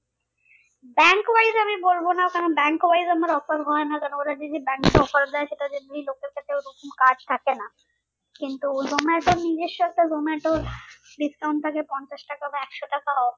bank wise আমি বলবো না কারণ bank wise আমার offer হয় না কারণ ওরা যে যে bank এ offer দেয় লোকের কাছে ওরকম card থাকে না কিন্তু জোমাটো নিজের সাথে জোমাটোর discount থাকে পঞ্চাশ টাকা বা একশো টাকা off